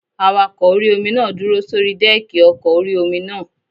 Awakọ̀ orí-omi náà dúró sórí dẹ́ẹ̀kì ọkọ̀ orí-omi náà